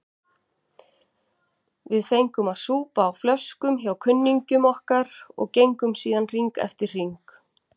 Við fengum að súpa á flöskum hjá kunningjum okkar og gengum síðan hring eftir hring.